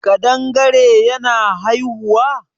kadangare yana haihuwa?